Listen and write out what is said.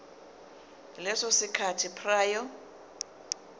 leso sikhathi prior